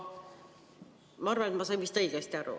Ma arvan, et ma sain vist õigesti aru.